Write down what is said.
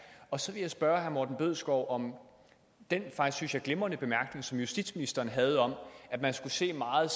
og så vil jeg spørge herre morten bødskov om den faktisk glimrende bemærkning som justitsministeren havde om at man skulle se meget